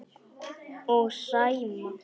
Og Sæma.